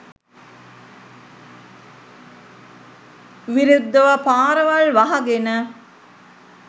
විරුද්දව පාරවල් වහගෙන